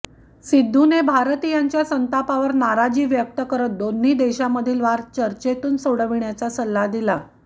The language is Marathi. सिद्धूने भारतीयांच्या संतापावर नाराजी व्यक्त करत दोन्ही देशामधील वाद चर्चेतू न सोडविण्याचा सल्ला दिला